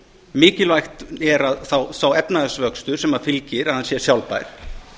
mikilvægt er að sá efnahagsvöxtur sem fylgir að hann sé sjálfbær